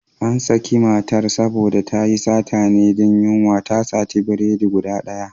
An sake matar saboda tayi satan ne don yunwa, ta sati biredi guda ɗaya.